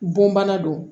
Bonbana don